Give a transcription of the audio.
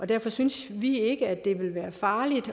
derfor synes vi ikke at det ville være farligt